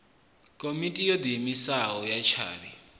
komiti yo diimisaho ya tshavhi